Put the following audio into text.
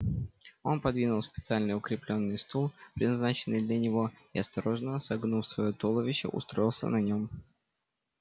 он подвинул специально укреплённый стул предназначенный для него и осторожно согнув своё туловище устроился на нём